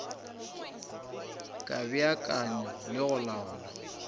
ka beakanya le go laola